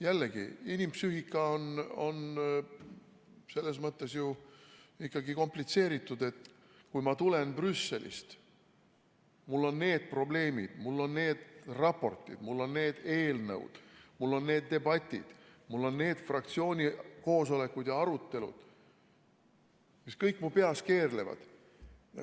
Jällegi, inimpsüühika on selles mõttes ju ikkagi komplitseeritud, et kui ma tulen Brüsselist, mul on need probleemid, mul on need raportid, mul on need eelnõud, mul on need debatid, mul on need fraktsiooni koosolekud ja arutelud, mis kõik mu peas keerlevad.